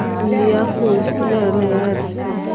india post biley araw lega aede sana.